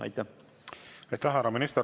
Aitäh, härra minister!